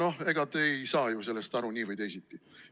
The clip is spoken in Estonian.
Aga ega te ei saa ju sellest aru nii või teisiti.